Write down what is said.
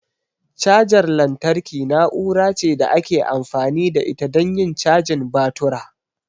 Cajar lantarki na'ura ce da ake amfani da ita don yin cajin batura.